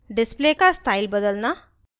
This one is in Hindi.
display का स्टाइल बदलना